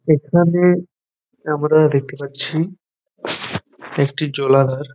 এখানে আমরা দেখতে পাচ্ছি একটি জলাধার।